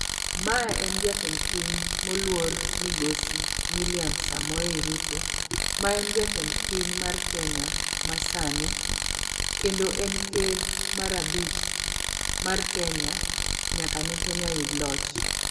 mae en jatend piny moluor migosi william samoei Ruto ma en jatend piny mar kenya masani ,kendo en ker mar abich mar kenya nyaka ne kenya yud loch